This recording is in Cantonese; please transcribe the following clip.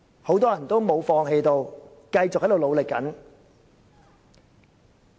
很多人也沒有放棄，仍在繼續努力。